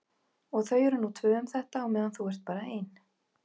Og þau eru nú tvö um þetta á meðan þú ert bara ein.